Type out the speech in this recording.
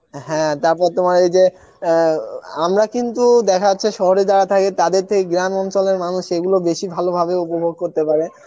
হ্যাঁ তারপর তোমার এই যে অ্যাঁআমরা কিন্তু দেখা যাচ্ছে সহরে যারা থাকে তাদের থেকে গ্রাম অঞ্চলের মানুষ এইগুলো বেসি ভালো ভাবে উপভোগ করতে পারে